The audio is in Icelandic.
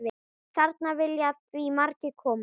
Þarna vilja því margir koma.